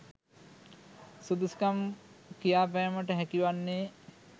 සුදුසුකම් කියාපෑමට හැකි වන්නේ